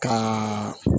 Ka